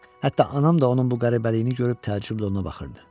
Hətta anam da onun bu qəribəliyini görüb təəccüblə ona baxırdı.